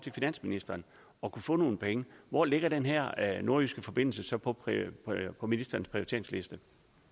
finansministeren og kunne få nogle penge hvor ligger den her nordjyske forbindelse så på ministerens prioriteringsliste